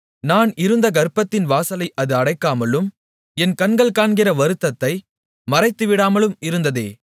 நான் இருந்த கர்ப்பத்தின் வாசலை அது அடைக்காமலும் என் கண்கள் காண்கிற வருத்தத்தை மறைத்துவிடாமலும் இருந்ததே